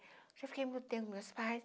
Já fiquei muito tempo com meus pais.